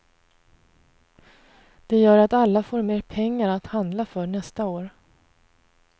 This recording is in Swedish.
Det gör att alla får mer pengar att handla för nästa år.